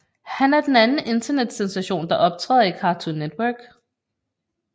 Han er den anden internetsensation der optæder i Cartoon Network